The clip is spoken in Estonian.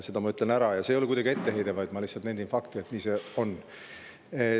Seda ma lihtsalt ütlen, see ei ole kuidagi etteheide, vaid ma nendin fakti, et nii see on.